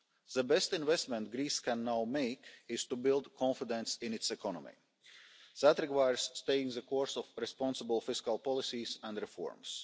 The best investment that Greece can now make is to build confidence in its economy. That requires staying the course of responsible fiscal policies and reforms.